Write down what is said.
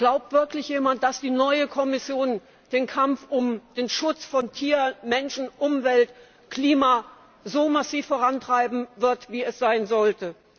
Glaubt wirklich jemand, dass die neue Kommission den Kampf um den Schutz von Tier, Mensch, Umwelt und Klima so massiv vorantreiben wird wie es sein sollte?